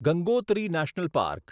Gangotri national park